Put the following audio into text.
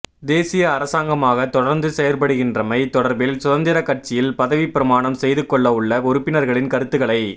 தேசிய அரசாங்கமாக தொடர்ந்து செயற்படுகின்றமை தொடர்பில் சுதந்திரக் கட்சியில் பதவிப் பிரமாணம் செய்துகொள்ளவுள்ள உறுப்பினர்களின் கருத்துக்களை